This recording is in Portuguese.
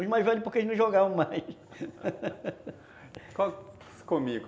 Os mais velhos porque eles não jogavam mais